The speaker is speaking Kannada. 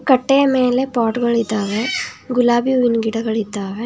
ಕಟ್ಟೆಯ ಮೇಲ್ ಪಾಟ್ ಗಳಿದ್ದಾವೆ ಗುಲಾಬಿ ಹೂವಿನ್ ಗಿಡಗಳಿದ್ದಾವೆ.